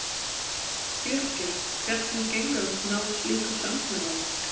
Birgir, hvernig gengur að ná slíku samkomulagi?